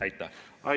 Aitäh!